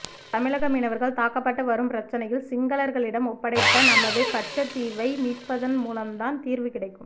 தமிழக மீனவர்கள் தாக்கப்பட்டு வரும் பிரச்னையில் சிங்களர்களிடம் ஒப்படைத்த நமது கச்சத்தீவை மீட்பதன் மூலம் தான் தீர்வு கிடைக்கும்